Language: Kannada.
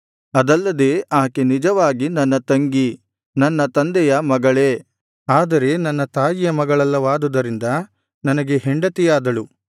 ಅದಲ್ಲದೆ ಆಕೆ ನಿಜವಾಗಿ ನನ್ನ ತಂಗಿ ನನ್ನ ತಂದೆಯ ಮಗಳೇ ಆದರೆ ನನ್ನ ತಾಯಿಯ ಮಗಳಲ್ಲವಾದುದರಿಂದ ನನಗೆ ಹೆಂಡತಿಯಾದಳು